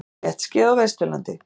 Léttskýjað á Vesturlandi